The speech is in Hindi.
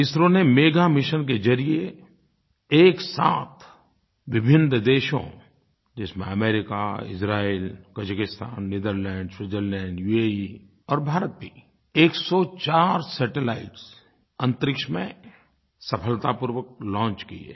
इसरो ने मेगा मिशन के ज़रिये एक साथ विभिन्न देशों जिसमें America Israel Kazakhstan Netherland Switzerland UAE और भारत भी 104 सैटेलाइट्स अन्तरिक्ष में सफलतापूर्वक लॉन्च किए हैं